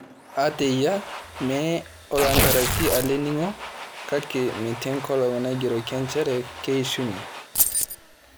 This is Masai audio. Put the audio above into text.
Ata eyia, mee oloontarasi ele ning'o, kake meeti enkolong' naigeroki nchere keishunye.